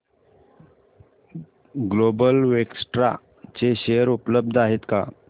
global Vectra चे share उपलब्ध आहेत का